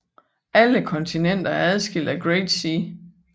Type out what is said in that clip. Alle kontinenter er adskilt af Great Sea